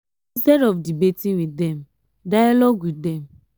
instead of debating with dem dialogue with them